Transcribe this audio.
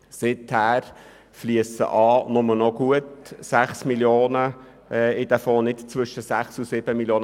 Seither fliessen nur noch rund 6 Mio. Franken in diesen Fonds und nicht zwischen 6 und 7 Mio. Franken.